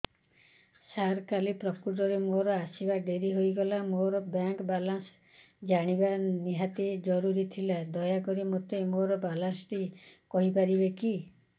ସାର କାଲି ପ୍ରକୃତରେ ମୋର ଆସିବା ଡେରି ହେଇଗଲା ମୋର ବ୍ୟାଙ୍କ ବାଲାନ୍ସ ଜାଣିବା ନିହାତି ଜରୁରୀ ଥିଲା ଦୟାକରି ମୋତେ ମୋର ବାଲାନ୍ସ ଟି କହିପାରିବେକି